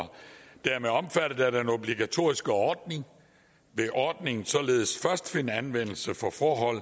dermed omfattet af den obligatoriske ordning vil ordningen således først finde anvendelse for forhold